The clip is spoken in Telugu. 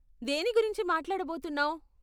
దేని గురించి మాట్లాడబోతున్నావ్?